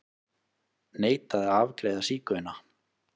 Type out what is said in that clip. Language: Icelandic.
Neitaði að afgreiða sígauna